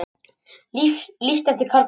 Lýst eftir karlmanni